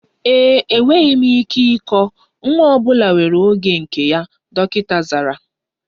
Enweghị m ike ịkọ, nwa ọ bụla nwere oge nke ya, dọkịta zara